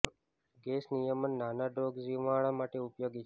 gas નિયમિત નાના dose રોગ નિવારણ માટે ઉપયોગી છે